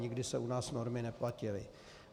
Nikdy se u nás normy neplatily.